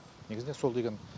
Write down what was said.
негізінен сол деген